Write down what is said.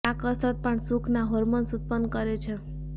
આ કસરત પણ સુખ ના હોર્મોન્સ ઉત્પન્ન કરે છે